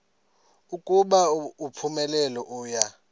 ukuba uphumelele uya